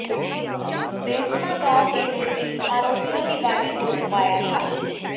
बेसवा गांव के नजदीक आरोपियों की गाड़ी को रुकवाया था